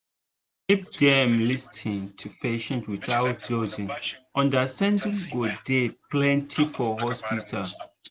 if dem lis ten to patients without judging understanding go dey plenty for hospital.